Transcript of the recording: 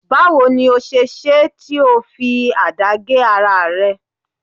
Bawo ni o se ṣe é tí ó fi àdá gé ara rẹ